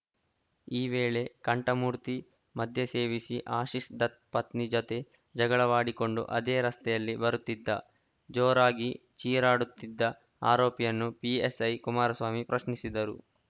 ಈ ವೇಳೆ ಕಂಠಮೂರ್ತಿ ಮದ್ಯ ಸೇವಿಸಿದ್ದ ಆಶೀಶ್‌ ದತ್‌ ಪತ್ನಿ ಜತೆ ಜಗಳವಾಡಿಕೊಂಡು ಅದೇ ರಸ್ತೆಯಲ್ಲಿ ಬರುತ್ತಿದ್ದ ಜೋರಾಗಿ ಚೀರಾಡುತ್ತಿದ್ದ ಆರೋಪಿಯನ್ನು ಪಿಎಸ್‌ಐ ಕುಮಾರಸ್ವಾಮಿ ಪ್ರಶ್ನಿಸಿದ್ದರು